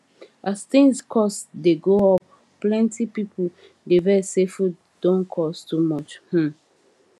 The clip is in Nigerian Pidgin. as things cost dey go up plenty people dey vex say food don cost too much um